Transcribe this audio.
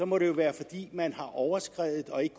må det jo være fordi man har overskredet og ikke